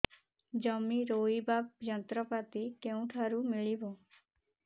ଜମି ରୋଇବା ଯନ୍ତ୍ରପାତି କେଉଁଠାରୁ ମିଳିବ